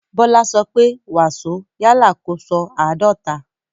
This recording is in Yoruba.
Bọ́lá sọ pé "wàsó" yálà kó sọ "àádọ́ta náírà".